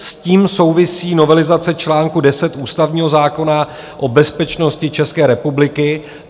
S tím souvisí novelizace čl. 10 ústavního zákona o bezpečnosti České republiky.